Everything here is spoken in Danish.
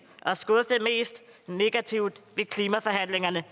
og skuffede mest negativt ved klimaforhandlingerne